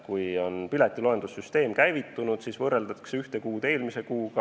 Kui piletiloendussüsteem on käivitunud, siis saab võrrelda jooksvat kuud eelmise kuuga.